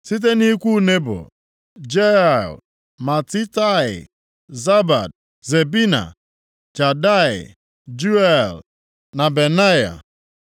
Site nʼikwu Nebo: Jeiel, Matitaia, Zabad, Zebina, Jadai, Juel na Benaya.